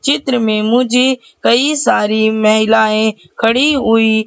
चित्र में मुझे कई सारी महिलाएं खड़ी हुई--